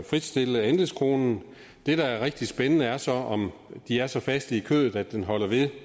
fritstille andelskronen det der er rigtig spændende er så om de er så faste i kødet at den holder ved